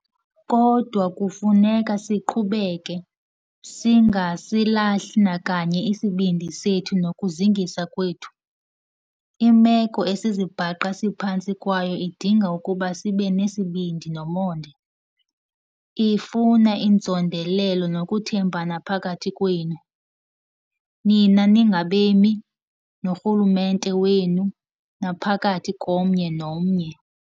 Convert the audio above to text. Kodwa kufuneka siqhubeke, singasilahli nakanye isibindi sethu nokuzingisa kwethu. Imeko esizibhaqa siphantsi kwayo idinga ukuba sibe nesibindi nomonde. Ifuna inzondelelo nokuthembana phakathi kwenu, nina ningabemi, norhulumente wenu, naphakathi komnye nomnye.